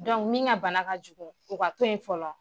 min ka bana ka jugu o ka to in fɔlɔ.